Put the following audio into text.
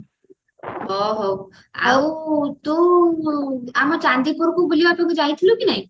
ହ ହଉ ଆଉ ତୁ ଆମ ଚାନ୍ଦିପୁରୁକୁ ବୁଲିବା ପାଇଁ ଯାଇଥିଲୁ କି ନାଇଁ